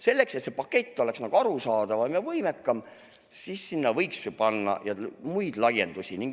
Selleks, et see pakett oleks arusaadavam ja võimekam, võiks ju sinna panna muid laiendusi.